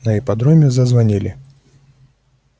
на ипподроме зазвонили